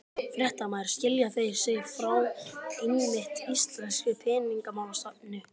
Fréttamaður: Skilja þeir sig frá einmitt íslenskri peningamálastefnu?